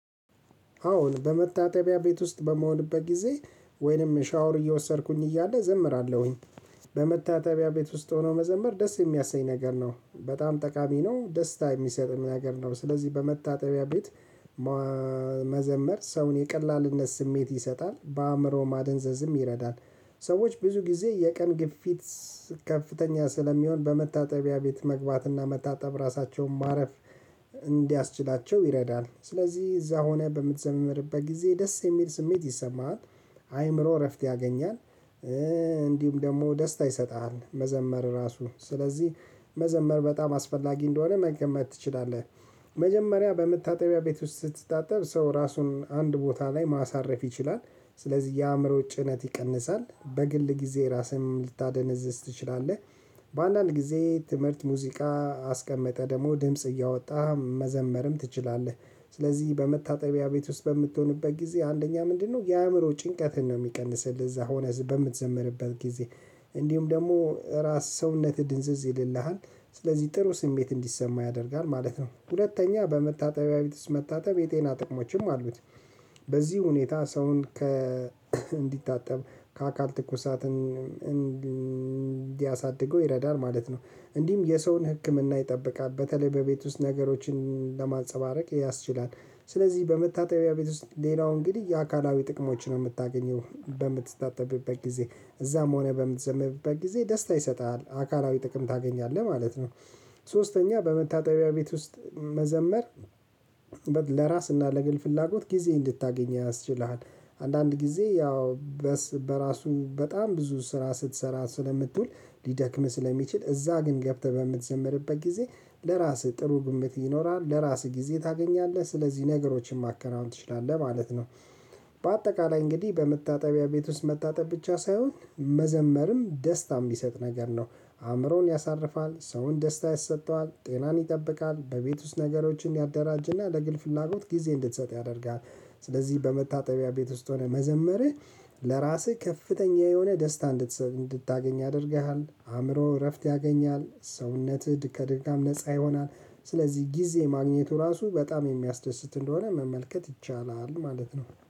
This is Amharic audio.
አሁን በመታጠቢያ ቤት ውስጥ በመሆንበት ጊዜ ወይንም ሻወር እየወሰድኩኝ እያለ ዘምራለሁኝ። በመታጠቢያ ቤት ውስጥ ሆኖ መዘመር ደስ የሚያሰኝ ነገር ነው በጣም ጠቃሚ ነው ደስታ የሚሰጥ ነገር ነው ስለዚህ በመታጠቢያ ቤት። መዘመር ሰውን የቀላልነት ስሜት ይሰጣል በአእምሮ ማደንዘዝም ይረዳል። ሰዎች ብዙ ጊዜ የቀን ግፊት ከፍተኛ ስለሚሆን በመታጠቢያ ቤት መግባትና መታጠብ ራሳቸውን ማረፍ እንዲያስችላቸው ይረዳል። ስለዚህ እዛ ሆነህ በምትዘምርበት ጊዜ ደስ የሚል ስሜት ይሰማሃል። አይምሮ እረፍት ያገኛል። እንዲሁም ደግሞ ደስታ ይሰጥሃል መዘመር ራሱ ስለዚህ መዘመር በጣም አስፈላጊ እንደሆነ መገመት ትችላለህ። መጀመሪያ በመታጠቢያ ቤት ውስጥ ስትታጠብ ሰው ራሱን አንድ ቦታ ላይ ማሳረፍ ይችላል። ስለዚህ የአእምሮ ጭነት ይቀንሳል በግል ጊዜ ራስህን ልታደነዝዝ ትችላለህ። በአንዳንድ ጊዜ ትምህርት ሙዚቃ አስቀመጠህ ደግሞ ድምጽ እያወጣህ መዘመርም ትችላለህ። ስለዚህ በመታጠቢያ ቤት ውስጥ በምትሆንበት ጊዜ አንደኛ ምንድነው የአእምሮ ጭንቀትን ነው የሚቀንስልህ? እዛ ሆነህ በምትዘምርበት ጊዜ እንዲሁም ደግሞ ራስ ሰውነትህ ድንዝዝ ይልልሃል። ስለዚህ ጥሩ ስሜት እንዲሰማህ ያደርጋል ማለት ነው። ሁለተኛ በመታጠቢያ ቤት ውስጥ መታጠብ የጤና ጥቅሞችም አሉት። በዚህ ሁኔታ ሰውን ከ እንዲታጠብ ከአካል ትኩሳትን እንዲያሳድገው ይረዳል ማለት ነው። እንዲህም የሰውን ህክምና ይጠብቃል በተለይ በቤት ውስጥ ነገሮችን ለማንፀባረቅ ያስችላል። ስለዚህ በመታጠቢያ ቤት ውስጥ ሌላው እንግዲህ የአካላዊ ጥቅሞችን ነው የምታገኘው በምትታጠብበት ጊዜ እዛም ሆነህ በምትዘምርበት ጊዜ ደስታ ይሰጣል አካላዊ ጥቅም ታገኛለህ ማለት ነው። ሶስተኛ በመታጠቢያ ቤት ውስጥ መዘመር ለራስና ለግል ፍላጎት ጊዜ እንድታገኝ ያስችልሃል። አንዳንድ ጊዜ ያው በራሱ በጣም ብዙ ስራ ስትሰራ ስለምትውል ሊደክምህ ስለሚችል እዛ ግን ገብተህ በምትዘምርበት ጊዜ ለራስህ ጥሩ ግምት ይኖራሃል ለራስህ ጊዜ ታገኛለህ ስለዚህ ነገሮችን ማከናወን ትችላለህ ማለት ነው። በአጠቃላይ እንግዲህ በመታጠቢያ ቤት ውስጥ መታጠብ ብቻ ሳይሆን መዘመርም ደስታም የሚሰጥ ነገር ነው። አእምሮን ያሳርፋል ሰውን ደስታ ያሰጠዋል ጤናን ይጠብቃል በቤት ውስጥ ነገሮችን ያደራጅና ለግል ፍላጎት ጊዜ እንድትሰጥ ያደርጋል። ስለዚህ በመታጠቢያ ቤት ውስጥ ሆነህ መዘመርህ ለራስህ ከፍተኛ የሆነ ደስታ እንድትሰጥ እንድታገኝ ያደርግሃል አእምሮህ እረፍት ያገኛል ሰውነትህ ከድጋም ነፃ ይሆናል። ስለዚህ ጊዜ ማግኘቱ ራሱ በጣም የሚያስደስት እንደሆነ መመልከት ይቻላል ማለት ነው